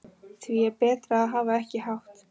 Því er betra að hafa ekki hátt.